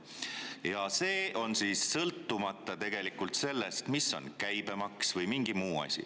Ja see on sõltumata sellest, mis on käibemaks või mingi muu asi.